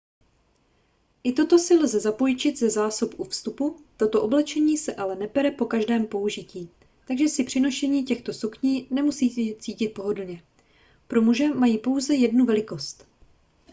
i toto si lze zapůjčit ze zásob u vstupu toto oblečení se ale nepere po každém použití takže se při nošení těchto sukní nemusíte cítit pohodlně pro muže mají pouze jednu velikost